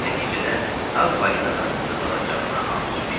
Nəticədə Ağ Balinadan qisas alacağına ant içmişdi.